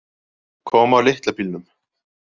Kom á litla bílnum.